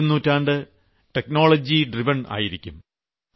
വരും നൂറ്റാണ്ട് സാങ്കേതികവിദ്യയാൽ നയിക്കപ്പെടുന്നതായിരിക്കും